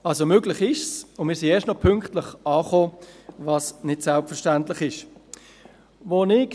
Möglich ist es, und wir sind erst noch pünktlich angekommen, was nicht selbstverständlich ist.